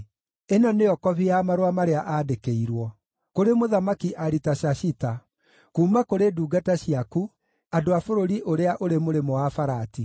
(Ĩno nĩyo kobi ya marũa marĩa aandĩkĩirwo.) Kũrĩ Mũthamaki Aritashashita, Kuuma kũrĩ ndungata ciaku, andũ a bũrũri ũrĩa ũrĩ Mũrĩmo-wa-Farati: